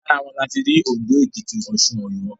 Lára wọn ni a ti rí Òndó, Èkìtì, Ọ̀ṣun, Ọ̀yọ́